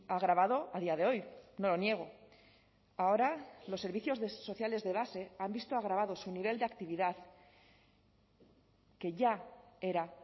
agravado a día de hoy no lo niego ahora los servicios sociales de base han visto agravado su nivel de actividad que ya era